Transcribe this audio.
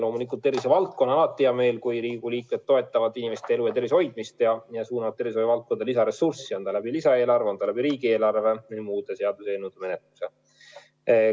Loomulikult, tervishoiutöötajatel on alati hea meel, kui Riigikogu liikmed toetavad inimeste elu ja tervise hoidmist ning suunavad tervishoiu valdkonda lisaressurssi, olgu lisaeelarve või riigieelarve kaudu või muude seaduseelnõude menetluse tulemusena.